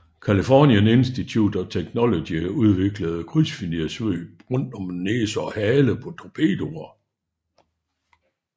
California Institute of Technology udviklede krydsfinerssvøb rundt om næse og hale på torpedoer